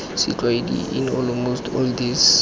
setlwaedi in almost all these